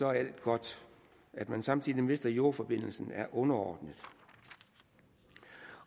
er alt godt at man samtidig mister jordforbindelsen er underordnet